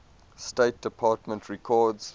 state department records